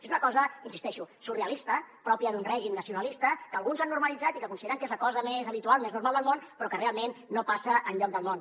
és una cosa hi insisteixo surrealista pròpia d’un règim nacionalista que alguns han normalitzat i que consideren que és la cosa més habitual més normal del món però que realment no passa enlloc del món